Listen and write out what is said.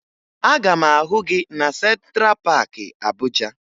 Aga m ahụ gị na Sentra Paakị Abuja